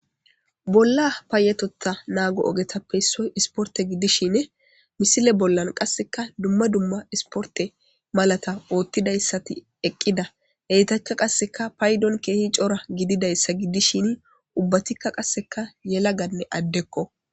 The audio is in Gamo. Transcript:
Bolla paayetota naago ogetappeyssoy isporte giddishin misile bollan qasseka dumma dumma isporte malata oottidayssati eqqida heytacka qasseka paydon keehi cora gididayssa gidishini ubbatikka qasseka yelaganne addekko.